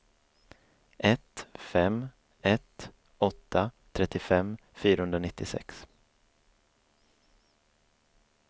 ett fem ett åtta trettiofem fyrahundranittiosex